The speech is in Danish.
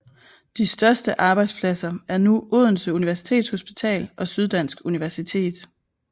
De største arbejdspladser er nu Odense Universitetshospital og Syddansk Universitet